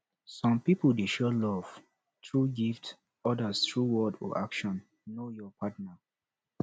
some pipo dey show love through gift odas through words or action know your partner